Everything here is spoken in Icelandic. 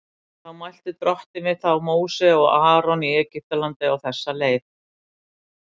Þá mælti Drottinn við þá Móse og Aron í Egyptalandi á þessa leið:.